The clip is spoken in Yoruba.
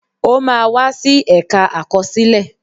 O máa wá sí ẹ̀ka àkọsílẹ̀